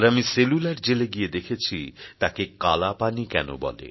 আর আমি সেলুলার জেলে গিয়ে দেখেছি তাকে কালাপানি কেন বলে